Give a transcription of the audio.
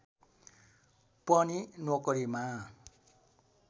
पनि नोकरीमा